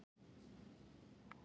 Róska, mun rigna í dag?